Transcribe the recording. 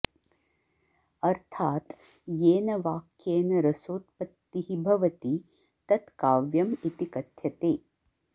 अर्थात् येन वाक्येन रसोत्पत्तिः भवति तत् काव्यम् इति कथ्यते